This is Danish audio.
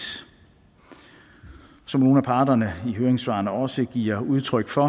som nogle af parterne i høringssvarene også giver udtryk for